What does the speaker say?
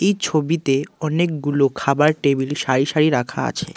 এই ছবিতে অনেকগুলো খাবার টেবিল সারি সারি রাখা আছে।